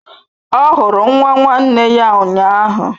Ọ hụrụ nwa nwanne ya ụnyahụ.